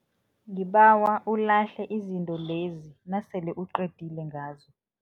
Ngibawa ulahle izinto lezi nasele uqedile ngazo.